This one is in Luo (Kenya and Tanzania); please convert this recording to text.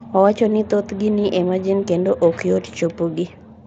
Owacho ni thothgi ni e marjin kendo ok yot chopogi.